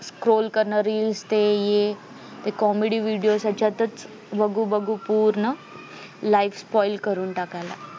scrolls करणं reels ते हे comedy video यांच्यातच बघू बघू पूर्ण life spoil करून टाकायला लागलेत